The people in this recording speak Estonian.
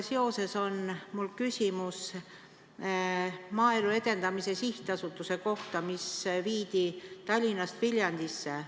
Mul on küsimus Maaelu Edendamise Sihtasutuse kohta, mis viidi Tallinnast Viljandisse.